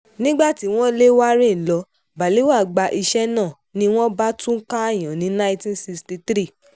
nígbà tí wọ́n lé warren lọ balewa gba iṣẹ́ náà ni wọ́n bá tún káàyàn ní nineteen sixty-three